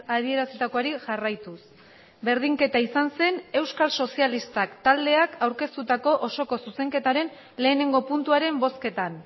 adierazitakoari jarraituz berdinketa izan zen euskal sozialistak taldeak aurkeztutako osoko zuzenketaren lehenengo puntuaren bozketan